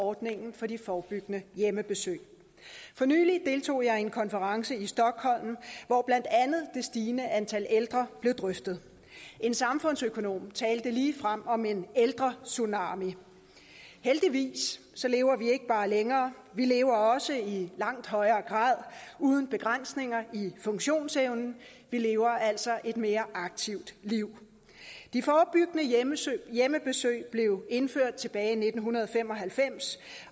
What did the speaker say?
ordningen for de forebyggende hjemmebesøg for nylig deltog jeg i en konference i stockholm hvor blandt andet det stigende antal ældre blev drøftet en samfundsøkonom talte ligefrem om en ældretsunami heldigvis lever vi ikke bare længere vi lever også i langt højere grad uden begrænsninger i funktionsevnen vi lever altså et mere aktivt liv de forebyggende hjemmebesøg blev indført tilbage i nitten fem og halvfems